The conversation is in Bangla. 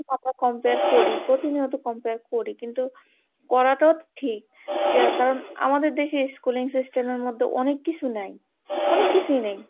compare করি প্রতিনিয়ত compare করি কিন্তু করা টাও ঠিক কারণ আমাদের দেশে schooling system মধ্যে অনেক কিছু নাই, অনেক কিছুই নেই।